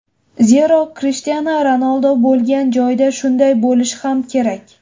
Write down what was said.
Zero, Krishtianu Ronaldu bo‘lgan joyda shunday bo‘lishi ham kerak.